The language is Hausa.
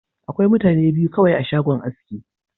Akwai mutane biyu kawai a shagon aski.